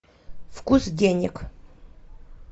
вкус денег